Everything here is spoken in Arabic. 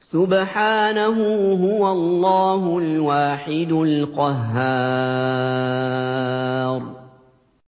سُبْحَانَهُ ۖ هُوَ اللَّهُ الْوَاحِدُ الْقَهَّارُ